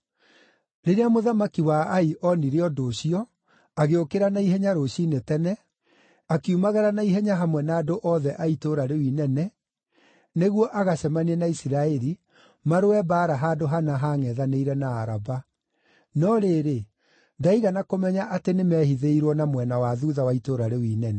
Rĩrĩa mũthamaki wa Ai onire ũndũ ũcio, agĩũkĩra na ihenya rũciinĩ tene, akiumagara na ihenya hamwe na andũ othe a itũũra rĩu inene nĩguo agacemanie na Isiraeli marũe mbaara handũ hana haangʼethanĩire na Araba. No rĩrĩ, ndaigana kũmenya atĩ nĩmehithĩirwo na mwena wa thuutha wa itũũra rĩu inene.